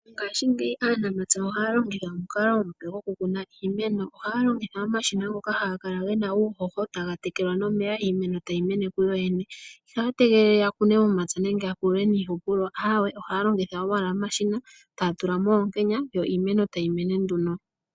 Ngaashingeyi aanamapya ohaya longitha omukalo omupe gwokukuna iimeno . Ohaya longitha omashina ngoka haga kala gena uuhoho taga tekelwa nomeya iimeno tayi mene kuyo yene. Ihaya tegelele yakune momapya nenge yapilule niihupulo ohaya longitha owala omashina etaya tulamo oonkenya yo iimeno tayi mene nduno.